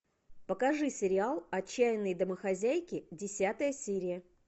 покажи сериал отчаянные домохозяйки десятая серия